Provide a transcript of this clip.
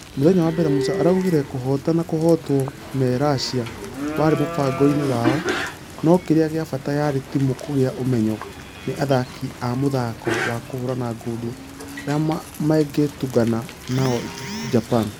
Mũthenya wa mbere musa araugire kũhota na kũhotwo me russia warĩ mũbango-inĩ wao nũ kĩrĩa gĩa bata yarĩ timũ kũgea ũmenyo nĩ athaki a mũthako wa kũhũrana ngundi arĩa mangetũngana nao japan.